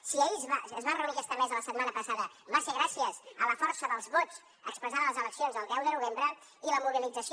si es va reunir aquesta mesa la setmana passada va ser gràcies a la força dels vots expressada a les eleccions el deu de novembre i la mobilització